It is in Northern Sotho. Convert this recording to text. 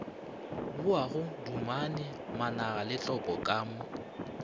boago dumane managaletlopo ka mo